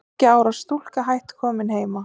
Þriggja ára stúlka hætt komin heima